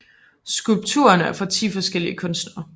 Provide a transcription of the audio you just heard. Skulpturerne er fra 10 forskellige kunstnere